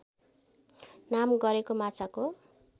नाम गरेको माछाको